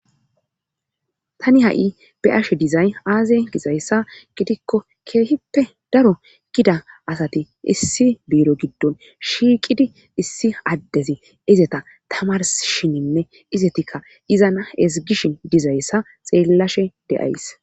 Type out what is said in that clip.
Tani ha7i be ashe dizay aazey gizayssa gidikko keehippe daro gida asati issi biiro giddon shiiqidi issi addezi izeta tamar shininne izetikka izana esigishi dizayssa xeellashe deyays.